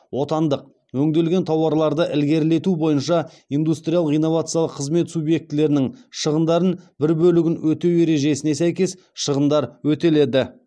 отандық өңделген тауарларды ілгерілету бойынша индустриялық инновациялық қызмет субъектілерінің шығындарын бір бөлігін өтеу ережесіне сәйкес шығындар өтеледі